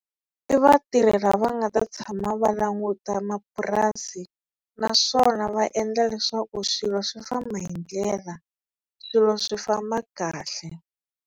I vatirhi lava nga ta tshama va languta mapurasi naswona va endla leswaku swilo swi famba hi ndlela swilo swi famba kahle.